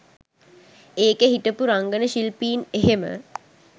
ඒකෙ හිටපු රංගන ශිල්පීන් එහෙම